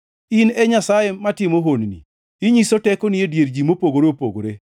In e Nyasaye matimo honni, inyiso tekoni e dier ji mopogore opogore.